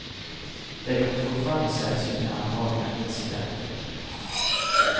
Det är dock fortfarande sällsynt med allvarliga incidenter.